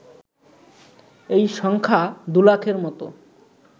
এই সংখ্যা দুলাখের মতো